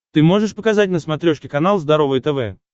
ты можешь показать на смотрешке канал здоровое тв